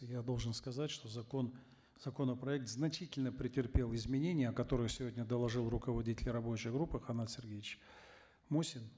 я должен сказать что закон законопроект значительно претерпел изменения о которых сегодня доложил руководитель рабочей группы канат сергеевич мусин